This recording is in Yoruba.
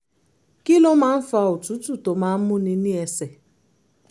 kí ló máa ń fa òtútù tó máa ń múni ní ẹsẹ̀?